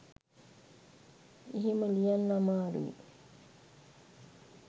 එහෙම ලියන්න අමාරුයි